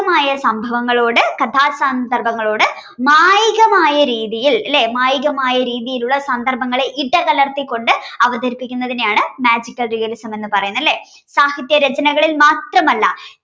സ്വാഭാവികമായ സംഭവങ്ങളോട് കഥാസന്ദർഭങ്ങളോട് മായികമായ രീതിയിൽ അല്ലേ മായികമായ രീതിയിലുള്ള സന്ദർഭങ്ങളെ ഇടകലർത്തിക്കൊണ്ട് അവതരിപ്പിക്കുന്നതിനെയാണ് magical realism എന്ന് പറയുന്നത് അല്ലേ സാഹിത്യ രചനകളെ മാത്രമല്ല